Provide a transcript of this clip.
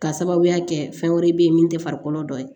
K'a sababuya kɛ fɛn wɛrɛ bɛ yen min tɛ farikolo dɔ ye